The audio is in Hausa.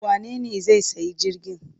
Wanene zai sayi jirgin?